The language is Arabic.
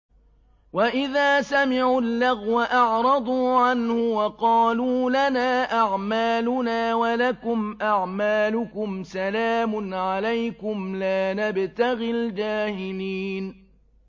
وَإِذَا سَمِعُوا اللَّغْوَ أَعْرَضُوا عَنْهُ وَقَالُوا لَنَا أَعْمَالُنَا وَلَكُمْ أَعْمَالُكُمْ سَلَامٌ عَلَيْكُمْ لَا نَبْتَغِي الْجَاهِلِينَ